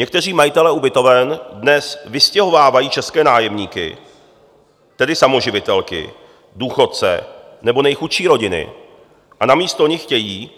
Někteří majitelé ubytoven dnes vystěhovávají české nájemníky, tedy samoživitelky, důchodce nebo nejchudší rodiny, a namísto nich chtějí